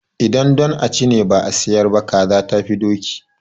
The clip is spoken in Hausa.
Idan don a ci ne ba a sayar ba, kaza tafi doki.